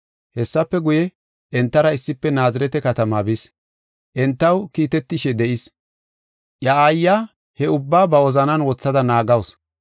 Hessafe guye, entara issife Naazirete katama bis. Entaw kiitetishe de7is. Iya aayiya he ubbaa ba wozanan wothada naagasu.